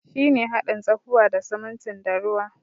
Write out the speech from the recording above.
Shi ne hadin tsakuwa da sumuntin da ruwa.